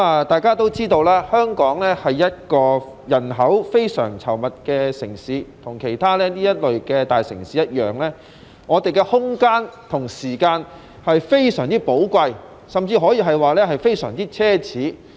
大家也知道，香港是一個人口非常稠密的城市，與其他大城市一樣，空間和時間也非常寶貴，甚至可以說是非常奢侈。